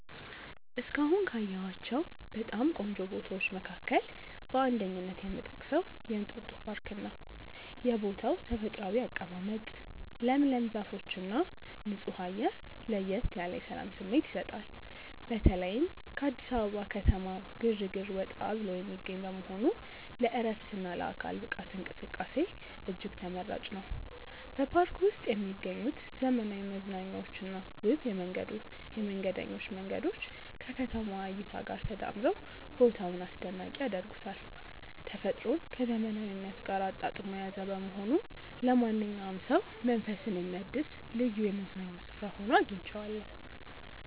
እስካሁን ካየኋቸው በጣም ቆንጆ ቦታዎች መካከል በአንደኝነት የምጠቀሰው የእንጦጦ ፓርክን ነው። የቦታው ተፈጥሯዊ አቀማመጥ፣ ለምለም ዛፎችና ንጹህ አየር ለየት ያለ የሰላም ስሜት ይሰጣል። በተለይም ከአዲስ አበባ ከተማ ግርግር ወጣ ብሎ የሚገኝ በመሆኑ ለዕረፍትና ለአካል ብቃት እንቅስቃሴ እጅግ ተመራጭ ነው። በፓርኩ ውስጥ የሚገኙት ዘመናዊ መዝናኛዎችና ውብ የመንገደኞች መንገዶች ከከተማዋ እይታ ጋር ተዳምረው ቦታውን አስደናቂ ያደርጉታል። ተፈጥሮን ከዘመናዊነት ጋር አጣጥሞ የያዘ በመሆኑ ለማንኛውም ሰው መንፈስን የሚያድስ ልዩ የመዝናኛ ስፍራ ሆኖ አግኝቼዋለሁ።